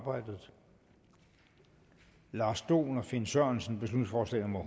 og halvfems lars dohn og finn sørensen beslutningsforslag nummer